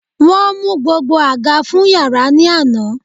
Won mu gbogbo aga fun yara ni ana